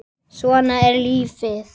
Svona er lífið!